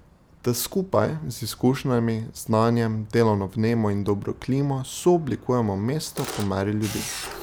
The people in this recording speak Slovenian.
Da skupaj, z izkušnjami, znanjem, delovno vnemo in dobro klimo, sooblikujemo mesto po meri ljudi.